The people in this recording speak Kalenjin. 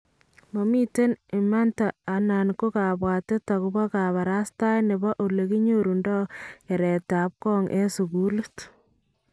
"Mamiten manta anan ko kabwatet akobo kabarastaet nebo olekicherundoo keretab kong en sukuuliit